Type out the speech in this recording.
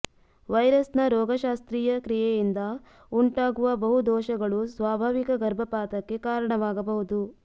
ವೈರಸ್ನ ರೋಗಶಾಸ್ತ್ರೀಯ ಕ್ರಿಯೆಯಿಂದ ಉಂಟಾಗುವ ಬಹು ದೋಷಗಳು ಸ್ವಾಭಾವಿಕ ಗರ್ಭಪಾತಕ್ಕೆ ಕಾರಣವಾಗಬಹುದು